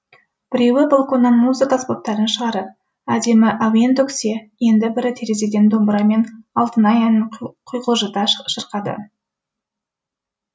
біреуі балконнан музыка аспаптарын шығарып әдемі әуен төксе енді бірі терезеден домбырамен алтынай әнін құйқылжыта шырқады